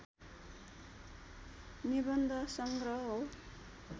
निबन्ध संग्रह हो